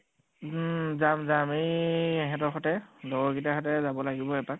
উম । যাম যাম । এই এহেঁতৰ সতে । লগৰ কেইটাৰ সতে যাব লাগিব এপাক ।